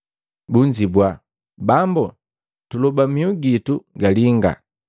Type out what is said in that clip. Bunzibwa, “Bambu, tuloba mihu gitu galinga.”